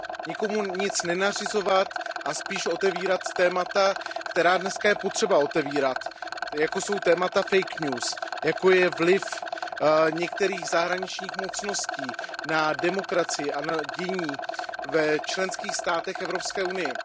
Nikomu nic nenařizovat a spíše otevírat témata, která dneska je potřeba otevírat, jako jsou témata jako je vliv některých zahraničních mocností na demokracii a na dění v členských státech Evropské unii.